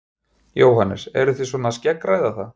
Jóhannes: Eruð þið svona að skeggræða það?